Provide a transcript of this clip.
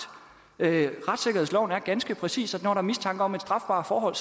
retssikkerhedsloven er ganske præcis når der er mistanke om et strafbart forhold